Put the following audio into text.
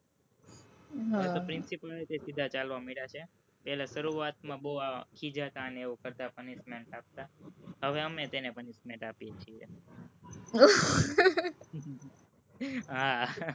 હવે principal ય સીધા ચાલવા મંડયા છે, પેલા શરૂઆતમાં બોવ ખિજાતાં અને એવું કરતા punishment આપતાં હવે અમે તેને punishment આપીએ છીએ, હા,